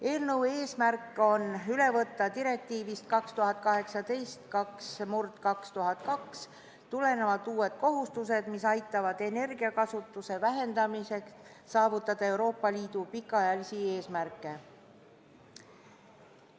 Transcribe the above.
Eelnõu eesmärk on üle võtta direktiivist 2018/2002 tulenevad uued kohustused, mis aitavad energiakasutuse vähendamisel saavutada Euroopa Liidu pikaajalisi eesmärke.